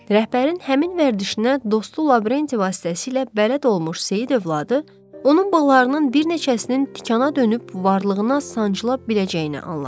Rəhbərin həmin vərdişinə dostu Lavrenti vasitəsilə bələd olmuş Seyid övladı, onun balalarının bir neçəsinin tikana dönüb varlığına sancıla biləcəyini anladı.